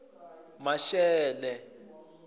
maxele